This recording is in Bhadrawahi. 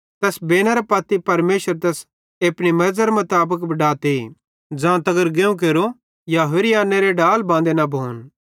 तैस बेनेरे पत्ती परमेशर तैस एपनी मेरज़रे मुताबिक बडाते ज़ांतगर गेहुं केरि या होरि आन्नेरे डाल बांदे न भोन